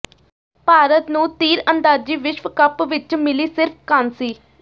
ਭਾਰਤ ਨੂੰ ਤੀਰਅੰਦਾਜ਼ੀ ਵਿਸ਼ਵ ਕੱਪ ਵਿੱਚ ਮਿਲੀ ਸਿਰਫ਼ ਕਾਂਸੀ